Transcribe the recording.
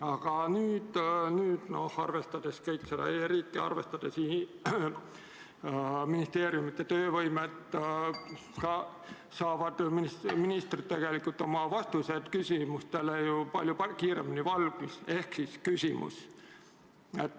Aga nüüd, arvestades kogu e-riiki ja ministeeriumide töövõimet, saavad ministrid tegelikult vastused küsimustele ju palju kiiremini valmis.